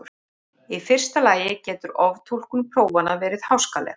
Í fyrsta lagi getur oftúlkun prófanna verið háskaleg.